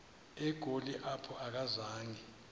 egoli apho akazanga